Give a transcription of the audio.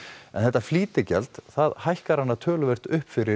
en þetta flýtigjald hækkar hana töluvert upp fyrir